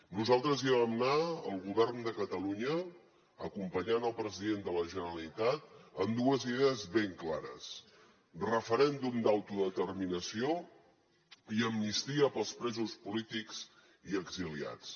nosaltres hi vam anar el govern de catalunya acompanyant el president de la generalitat amb dues idees ben clares referèndum d’autodeterminació i amnistia per als presos polítics i exiliats